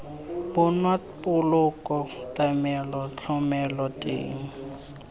bonwa poloko tlamelo thomelo teng